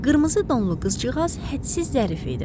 Qırmızı donlu qızcığaz hədsiz zərif idi.